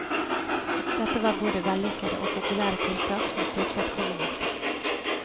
Dette var både vellykkete og populære tiltak, som styrket kongemakta.